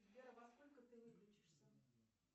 сбер во сколько ты выключишься